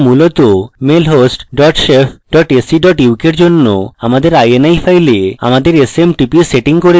ঠিক আছে আমরা মূলত mail host dot shef dot ac dot uk এর জন্য আমাদের ini file আমাদের smtp setting করছি